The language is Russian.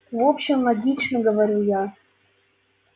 в общем логично говорю я